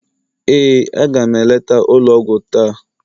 ee, a ga m eleta ụlọ ọgwụ taa.